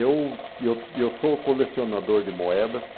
Eu e eu e eu sou colecionador de moedas.